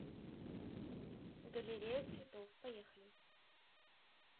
галерея цветов поехали